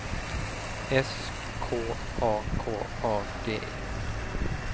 S K A K A D E